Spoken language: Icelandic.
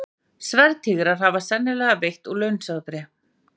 Skelfur Yggdrasils askur standandi, ymur hið aldna tré, en jötunn losnar.